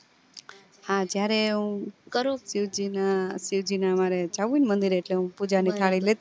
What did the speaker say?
હા જયારે હું શિવ જી ના શિવ જી ના મારે જવું ને મંદિર એ એટલે હું પૂજા ની થાળી લેતી